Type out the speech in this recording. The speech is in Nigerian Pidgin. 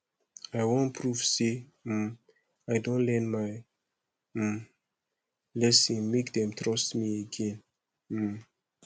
i wan prove sey um i don learn my um lesson make dem trust me again um